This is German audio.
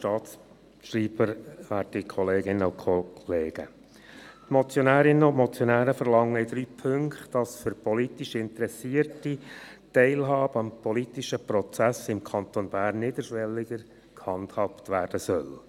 Die Motionärinnen und Motionäre verlangen in drei Punkten, dass für politisch Interessierte die Teilhabe am politischen Prozess im Kanton Bern niederschwelliger gehandhabt werden soll.